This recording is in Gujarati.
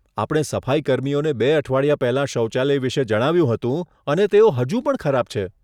આપણે સફાઈકર્મીઓને બે અઠવાડિયા પહેલા શૌચાલય વિશે જણાવ્યું હતું અને તેઓ હજુ પણ ખરાબ છે.